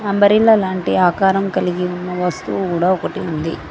Umbrella లాంటి ఆకారం కలిగి ఉన్న వస్తువు కూడా ఒకటి ఉంది.